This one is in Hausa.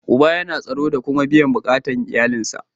Uba yana tsaro da kuma biyan bukatar iyalin sa.